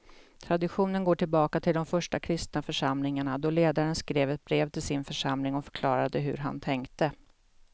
Traditionen går tillbaka till de första kristna församlingarna då ledaren skrev ett brev till sin församling och förklarade hur han tänkte.